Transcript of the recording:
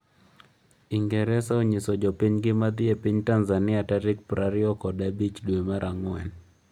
Ingresa onyiso jopinygi ma dhi e piny Tanzania tarik prariyokod abich dwe mar Ang'wen